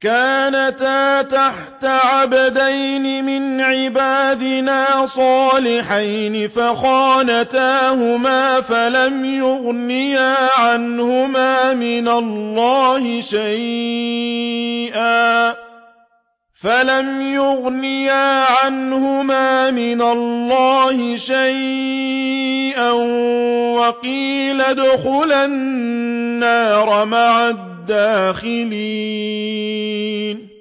كَانَتَا تَحْتَ عَبْدَيْنِ مِنْ عِبَادِنَا صَالِحَيْنِ فَخَانَتَاهُمَا فَلَمْ يُغْنِيَا عَنْهُمَا مِنَ اللَّهِ شَيْئًا وَقِيلَ ادْخُلَا النَّارَ مَعَ الدَّاخِلِينَ